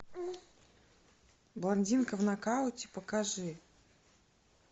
блондинка в нокауте покажи